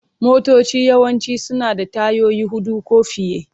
Motoci yawanci suna da tayoyi huɗu ko fiye.